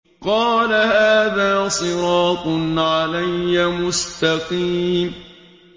قَالَ هَٰذَا صِرَاطٌ عَلَيَّ مُسْتَقِيمٌ